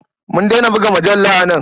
Mun daina buga mujalla a nan.